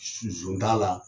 S sɔn t'a la